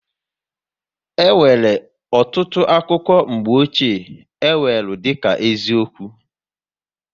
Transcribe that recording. E nwere ọtụtụ akụkọ mgbochie, e weru dịka eziokwu